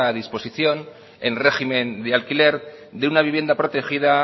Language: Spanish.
disposición en régimen de alquiler de una vivienda protegida